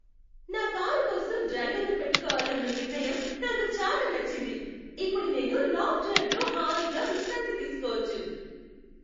నా కారు కోసం డ్రైవర్నుపెట్టుకోవాలన్న నిర్ణయం నాకు చాలా నచ్చింది, ఇప్పుడు నేను లాంగ్ డ్రైవ్ లో హాయిగా విశ్రాంతి తీసుకోవచ్చు.